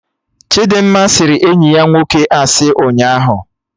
Chidimma sịrị enyi ya nwoke asị ụnyaahụ